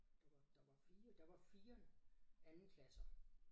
Det var der var 4 der var 4 andenklasser